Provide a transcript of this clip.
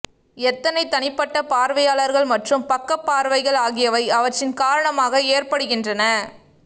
எத்தனை தனிப்பட்ட பார்வையாளர்கள் மற்றும் பக்க பார்வைகள் ஆகியவை அவற்றின் காரணமாக ஏற்படுகின்றன